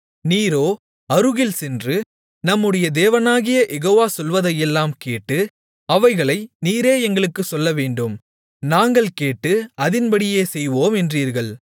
நீரோ அருகில் சென்று நம்முடைய தேவனாகிய யெகோவா சொல்வதையெல்லாம் கேட்டு அவைகளை நீரே எங்களுக்குச் சொல்லவேண்டும் நாங்கள் கேட்டு அதின்படியே செய்வோம் என்றீர்கள்